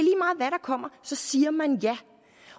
kommer så siger man ja